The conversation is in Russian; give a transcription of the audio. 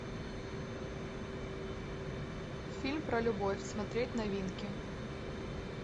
фильм про любовь смотреть новинки